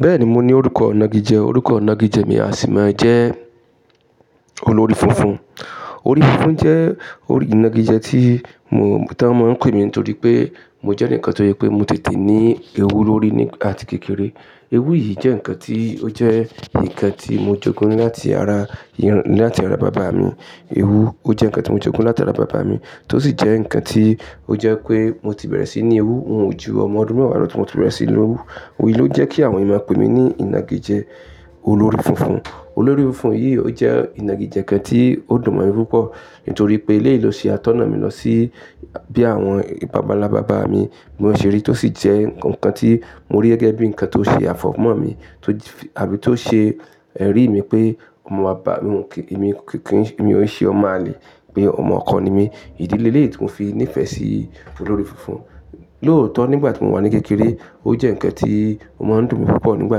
Bẹ́ẹ̀ni, mo ní orúkọ ìnagijẹ. Orúkọ ìnagijẹ mi a sì máa jẹ́ olórí funfun. Olórí funfun jẹ́ orí ìnagijẹ tí mo, tí wọ́n máa pè mí torí pé mo jẹ́ ǹkan tó jẹ pé mo tètè ní ewú lórí ní àti kékeré. Ewú yìí jẹ́ ǹkan tí ó jẹ́ ǹkan tí mo jogún láti ara, láti ara bàbá mi. Ewú ó jẹ́ ǹkan tí mo jogún láti ara bàbá mi, tó sì jẹ́ ǹkan tí ó jẹ́ pé mo ti bẹ̀rẹ̀ sí ní ewú ju ọmọ ọdún mẹ́wàá lọ tí mo ti bẹ̀rẹ̀ sí ní ewú. Òwe yìí ló jẹ́ kí àwọn èèyàn pé mi ní ìnagijẹ olórí funfun. Olórí funfun yìí ó jẹ́ ìnagijẹ kan tí ó dùn mi púpọ̀ nítorí pé ilé ìlọsí atọ́nà mi lọ sí bí àwọn bàbàlá bàbá mi bí wọ́n ṣe rí, tó sì jẹ́ ǹkan tí mo rí gẹ́gẹ́ bí ǹkan tó ṣe àfọ̀mọ́ mi tótí, àbí tó ṣe ẹ̀rí mi pé ọmọ bàbá mi, kí, èmi kì í, èmi ò ṣe ọmọ àlè, pé ọmọ ọkọ ni mí. Ìdílé ilé yìí tí mo fi ní ìfẹ́ sí olórí funfun. Lóòótọ́ nígbà tí mò wà ní kékeré, ó jẹ́ ǹkan tí ó máa ń dùn mi púpọ̀ nígbà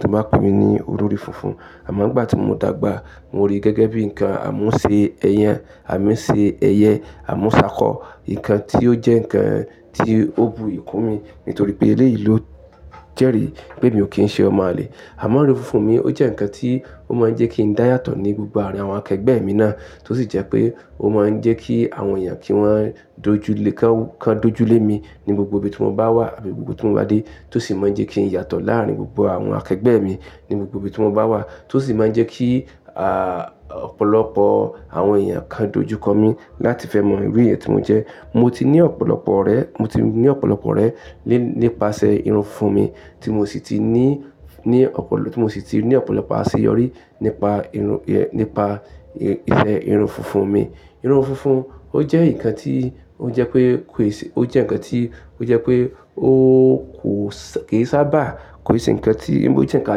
tí wọ́n bá pè mí ní olórí funfun. Àmọ́ nígbà tí mo dàgbà, mo rí gẹ́gẹ́ bí ǹkan a mú ṣe ẹyán, a mú ṣe ẹyẹ, a mú ṣákọ. Ǹkan tí ó jẹ́ ǹkan tí ó bu ìkún mi nítorí pé ilé yìí ló jẹ́ rí pé mi ò kí ń ṣe ọmọ àlè. Àmọ́ olórí funfun mi ó jẹ́ ǹkan tí ó máa ń jẹ́ kí n dá yàtọ̀ ní gbogbo àárín àwọn akẹgbẹ́ mi náà, tó sì jẹ́ pé ó máa ń jẹ́ kí àwọn èèyàn kí wọ́n dojú lé, kí wọ́n, kí wọ́n dojú lé mi ní gbogbo ibi tí mo bá wà àbí gbogbo tí mo bá dé, tó sì máa ń jẹ́ kí n yàtọ̀ láàárín gbogbo àwọn akẹgbẹ́ mi ní gbogbo ibi tí mo bá wà, tó sì máa ń jẹ́ kí, à, ọ̀pọ̀lọpọ̀ àwọn èèyàn kan dojú kọ mí láti fẹ́ mọ irú èèyàn tí mo jẹ́. Mo ti ní ọ̀pọ̀lọpọ̀ ọ̀rẹ́, mo ti ní ọ̀pọ̀lọpọ̀ rẹ̀ nípasẹ̀ irun funfun mi tí mo sì ti ní, ní ọ̀pọ̀lọ, tí mo sì ti ní ọ̀pọ̀lọpọ̀ àṣeyọrí nípa irun, ìyẹn, nípa ìfẹ́ irun funfun mi. Irun funfun ó jẹ́ ǹkan tí ó jẹ́ pé kò ì ṣé, ó jẹ́ ǹkan tí ó jẹ́ pé ó kò sá, kì í sábà kò ì ṣe ǹkan tí, bí ó jẹ́ ǹkan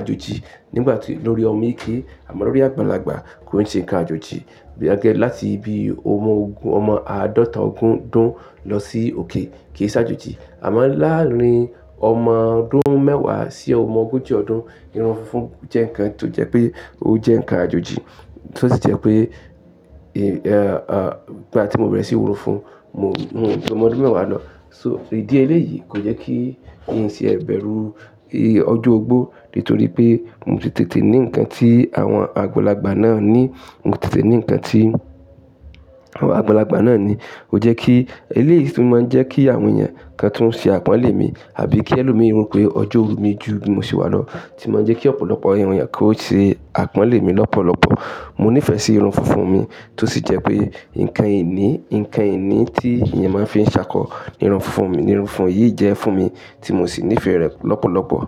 àjòjì nígbà tí lórí ọmọ kékeré àmọ́ lórí àgbàlagbà kò ì ṣe ǹkan àjòjì. Bí a gé láti bí ọmọ ogún, ọmọ àádọ́ta ọdún dún lọ sí òkè kì í sá àjòjì. Àmọ́ láàárín ọmọ ọdún mẹ́wàá sí ọmọ ogójì ọdún, irun funfun jẹ́ ǹkan tó jẹ́ pé ó jẹ́ ǹkan àjòjì, tó sì jẹ́ pé, ì, nígbà tí mo bẹ̀rẹ̀ sí ní run funfun, mo, mo ni ọmọ ọdún mẹ́wàá lọ. So ìdí ilé yìí kò jẹ́ kí n ṣe ẹ̀ bẹ̀rù, ì, ọjọ́ ogbó nítorí pé mo tètè ní ǹkan tí àwọn àgbàlagbà náà ní. Mo tètè ní ǹkan tí àwọn àgbàlagbà náà ní. Ó jẹ́ kí ilé yìí sì máa ń jẹ́ kí àwọn èèyàn kan tún ṣe àpọ́nlé mi àbí kí ẹlòmíràn rí pé ọjọ́ òru mi ju bí mo ṣe wà lọ ti máa ń jẹ́ kí ọ̀pọ̀lọpọ̀ àwọn èèyàn kó ṣe àpọ́nlé mi lọ́pọ̀lọpọ̀. Mo ní ìfẹ́ sí irun funfun mi tó sì jẹ́ pé ǹkan ìní, ǹkan ìní tí èèyàn máa ń fi ṣákọ ni irun funfun mi. Irun funfun yìí jẹ́ fún mi tí mo sì ní ìfẹ́ rẹ̀ lọ́pọ̀lọpọ̀.